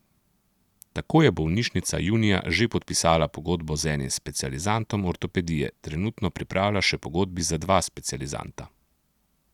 Tako je bolnišnica junija že podpisala pogodbo z enim specializantom ortopedije, trenutno pripravlja še pogodbi za dva specializanta.